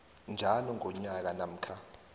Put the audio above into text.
njalo ngonyaka namkha